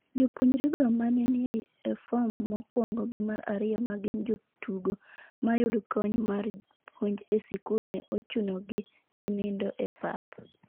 Jopuonjrego ma ne ni e form mokwongo gi mar ariyo ma gin jotugo mayud kony mar puonj e sikul ne ochuno gi gininido e pap